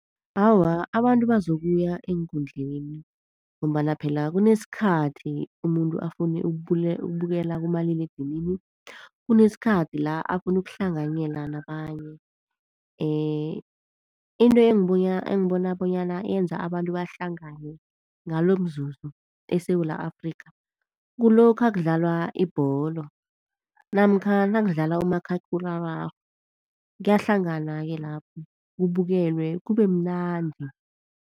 Awa, abantu bazokuya eenkundleni, ngombana phela kunesikhathi umuntu afune ukubukela kumaliledinini, kunesikhathi la afune ukuhlanganyela nabanye. Into engibona bonyana yenza abantu bahlangane ngalomzuzu eSewula Afrika kulokha kudlalwa ibholo namkha nakudlalwa umakhakhulararhwe kuyahlanganwa-ke lapho kubukelwe, kubemnandi.